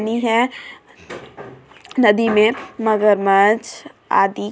नदी में मगरमच्छ आदि कछुआ सब रहते हैं।